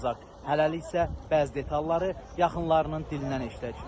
Hələlik isə bəzi detalları yaxınlarının dilindən eşitdik.